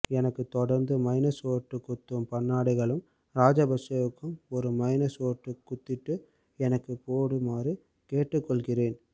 எனக்கு தொடர்ந்து minus vote குத்தும் பண்ணாடைகளும் ராஜபக்சேவுக்கும் ஒரு மைனஸ் ஓட்டு குத்திட்டு எனக்கும் போடுமாறு கேட்டுக்கொள்கின்றேன்